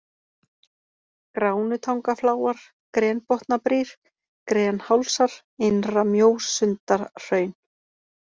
Gránutangafláar, Grenbotnabrýr, Grenhálsar, Innra-Mjósundahraun